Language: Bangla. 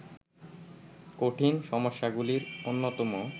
কঠিন সমস্যাগুলির অন্যতম